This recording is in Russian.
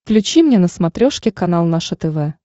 включи мне на смотрешке канал наше тв